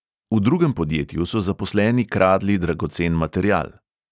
V drugem podjetju so zaposleni kradli dragocen material.